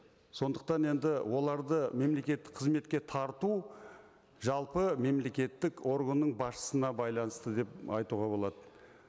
сондықтан енді оларды мемлекеттік қызметке тарту жалпы мемлекеттік органның басшысына байланысты деп айтуға болады